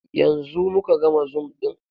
Yanzu mu ka gama zoom ɗin.